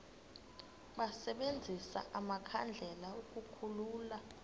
basebenzise amakhandlela ukukhulula